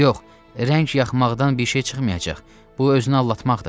Yox, rəng yaxmaqdan bir şey çıxmayacaq, bu özünü aldatmaqdır.